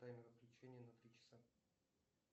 таймер отключения на три часа